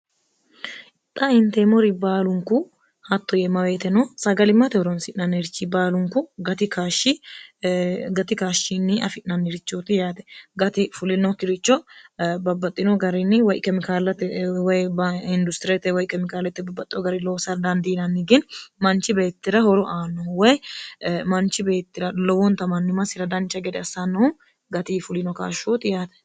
xa inteemori baalunku hatto yeemmaweete no sagali mate horonsi'nannirchi baalunku gati kaashshinni afi'nannirichooti yaate gatifulinokkiricho babbaxxino garinni wykmikaalatewoyindustiriete woy kemikaalette babbaxxo gari loosa dandiinanni gini manchi beettira horo aannohu woy manchi beettira lowonta mannu masira dancha gede assannohu gati fulino kaashshooti yaate